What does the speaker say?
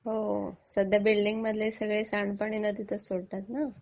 हो. सध्या बिल्डिंगमधले सगळे सांडपाणी नदीतच सोडतात ना.